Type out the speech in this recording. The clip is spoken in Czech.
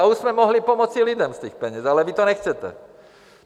A už jsme mohli pomoci lidem z těch peněz, ale vy to nechcete.